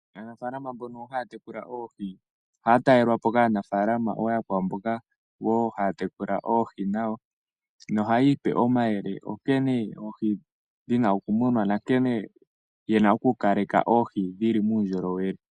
Aanafalama mbono hayatekula oohi ohaya talelwapo kaanafalama ooyokwawo mboka woo hayatekula oohi, ohayiipe omayele nkene oohi dhina okumunwa nankene yena okukaleka oohi dhili muundjolowele.